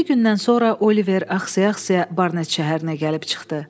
Yeddi gündən sonra Oliver ağsaya-ağsaya Barnet şəhərinə gəlib çıxdı.